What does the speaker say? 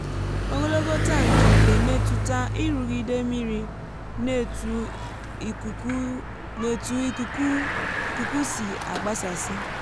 ogologo tankị na-emetụta nrụgide mmiri na ètu ikuku ikuku si àgbásàsí